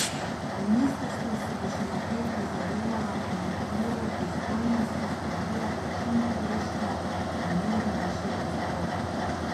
Ministrstvo si bo še naprej prizadevalo in v okviru pristojnosti spodbujalo čimprejšnjo in mirno rešitev spora.